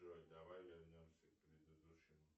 джой давай вернемся к предыдущему